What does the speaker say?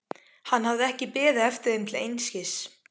Hann hafði ekki beðið eftir þeim til einskis.